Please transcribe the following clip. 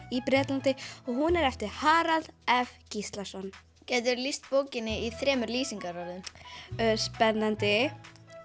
í Bretlandi hún er eftir Harald f Gíslason gætiru lýst bókinni í þremur lýsingarorðum spennandi